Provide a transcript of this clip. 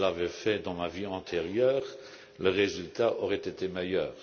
Si je l'avais fait dans ma vie antérieure, le résultat aurait été meilleur.